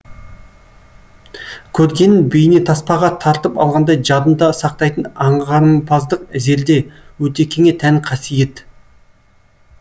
көргенін бейнетаспаға тартып алғандай жадында сақтайтын аңғарымпаздық зерде өтекеңе тән қасиет